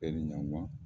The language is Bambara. E ni ɲanguba